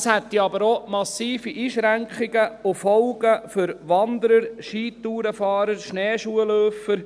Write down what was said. Es gäbe jedoch auch massive Einschränkungen und Folgen für Wanderer, Skitourenfahrer und Schneeschuhläufer.